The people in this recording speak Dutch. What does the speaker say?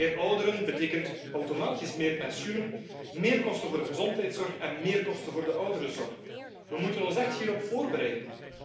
Meer ouderen betekent automatisch meer pensioenen, meer kosten voor de gezondheidszorg en meer kosten voor de ouderenzorg. We moeten ons echt hierop voorbereiden.